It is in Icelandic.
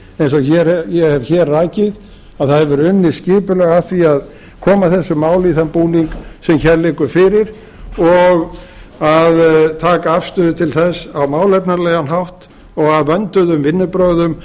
eins og ég hef hér rakið að það hefur verið unnið skipulega að því að koma þessu máli í þann búning sem hér liggur fyrir og að taka afstöðu til þess á málefnalegan hátt og af vönduðum vinnubrögðum